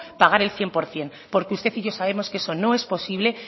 pagar el cien por ciento porque usted y yo sabemos que eso no es posible